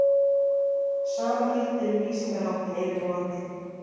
Sama gildir um lýsingarháttinn yfirvofandi.